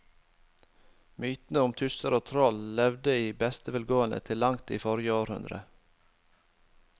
Mytene om tusser og troll levde i beste velgående til langt inn i forrige århundre.